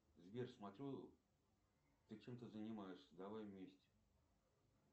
сбер смотрю ты чем то занимаешься давай вместе